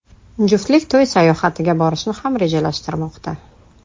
Juftlik to‘y sayohatiga borishni ham rejalashtirmoqda.